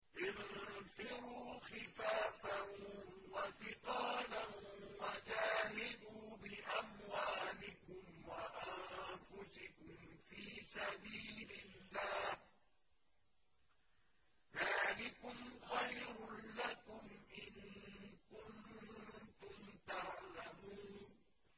انفِرُوا خِفَافًا وَثِقَالًا وَجَاهِدُوا بِأَمْوَالِكُمْ وَأَنفُسِكُمْ فِي سَبِيلِ اللَّهِ ۚ ذَٰلِكُمْ خَيْرٌ لَّكُمْ إِن كُنتُمْ تَعْلَمُونَ